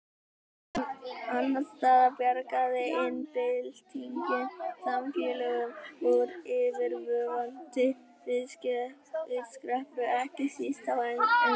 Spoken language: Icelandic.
Annars staðar bjargaði iðnbyltingin samfélögum úr yfirvofandi vistkreppu, ekki síst á Englandi.